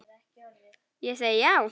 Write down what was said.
Ég segi já!